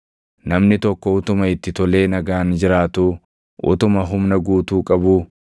Namni tokko utuma itti tolee nagaan jiraatuu, utuma humna guutuu qabuu,